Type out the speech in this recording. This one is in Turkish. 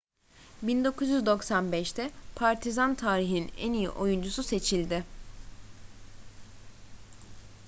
1995'te partizan tarihinin en iyi oyuncusu seçildi